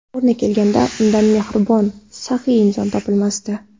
O‘rni kelganda, undan mehribon, saxiy inson topilmasdi.